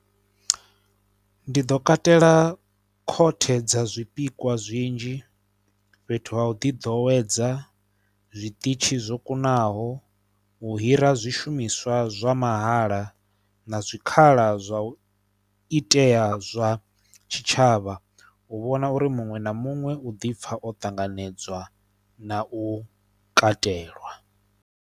Ndi ḓo katela khothe dza zwipikwa zwinzhi fhethu ha u ḓiḓowedza zwiṱitshi zwo kunaho, u hira zwishumiswa zwa mahala na zwikhala zwa u itea zwa tshitshavha u vhona uri muṅwe na muṅwe u dipfha o tanganedzwa na u katelwa.